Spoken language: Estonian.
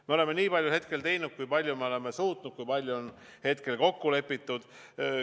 Me oleme nii palju hetkel teinud, kui palju me oleme suutnud ja kui palju on hetkel kokku lepitud.